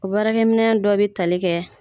O baara minɛ dɔ bɛ tali kɛ.